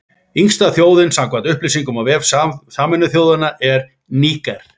Yngsta þjóðin, samkvæmt upplýsingum á vef Sameinuðu þjóðanna, er Níger.